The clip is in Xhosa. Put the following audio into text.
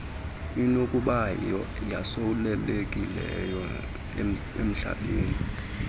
inokuba yosulelekileze umhlambe